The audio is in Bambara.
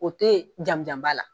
O te jamujanba la